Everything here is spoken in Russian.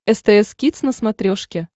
стс кидс на смотрешке